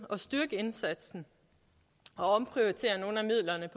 at styrke indsatsen og omprioritere nogle af midlerne